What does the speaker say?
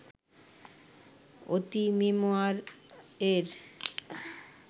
অঁতিমেমোয়ার-এর